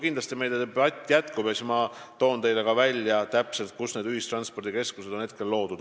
Kindlasti meie debatt jätkub ja siis ma nimetan teile ka need kohad, kus täpselt on ühistranspordikeskused juba loodud.